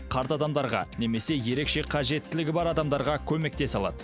қарт адамдарға немесе ерекше қажеттілігі бар адамдарға көмектесе алады